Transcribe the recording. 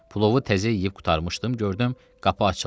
Plovu təzə yeyib qurtarmışdım, gördüm qapı açıldı.